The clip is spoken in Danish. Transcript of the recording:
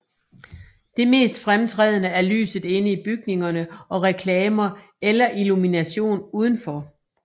Det mest fremtrædende er lyset inde i bygningerne og reklamer eller illumination udenfor